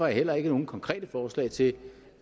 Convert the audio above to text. heller ikke nogen konkrete forslag til